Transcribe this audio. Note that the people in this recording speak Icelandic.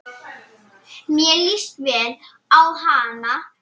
Mér líst vel á hana.